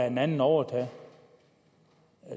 en anden overtage